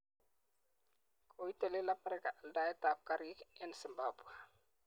Koitelel Amerika aldaetab karik eng Zimbabwe.